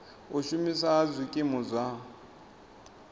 u shumiswa ha zwikimu zwa